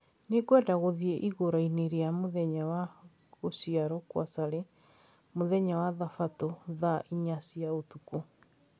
Nĩngwenda gũthiĩ iruga-inĩ rĩa mũthenya wa gũciarũo kwa Sally mũthenya wa thabatũ thaa inya cia ũtukũ.